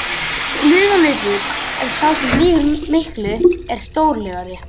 Lygalaupur er sá sem lýgur miklu, er stórlygari.